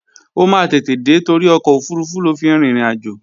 Ó máa tètè dé torí ọkọ̀ òfurufú ló fi rin ìrìnàjò